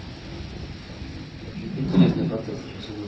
там очень интересные процессы сейчас идут